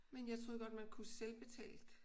Men jeg troede godt man kunne selvbetale?